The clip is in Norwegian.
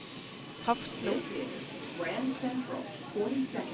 Hafslo